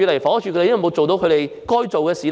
房屋署有沒有做到該做的事？